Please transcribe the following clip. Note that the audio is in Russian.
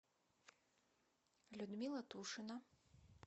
людмила тушина